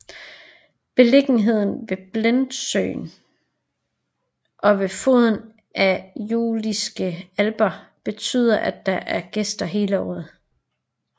Beliggenheden ved Bledsøen og ved foden af de Juliske Alper betyder at der er gæster hele året